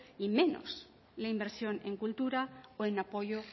y menos la inversión en cultura o en apoyo